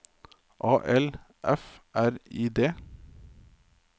A L F R I D